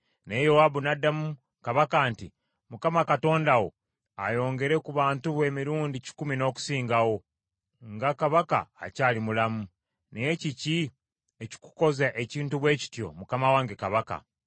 Naye Yowaabu n’addamu kabaka nti, “ Mukama Katonda wo ayongere ku bantu bo emirundi kikumi n’okusingawo, nga mukama wange kabaka akyali mulamu. Naye kiki ekikukoza ekintu bwe kityo mukama wange kabaka?”